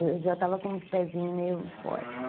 Eu já estava com o pezinho meio fora, assim.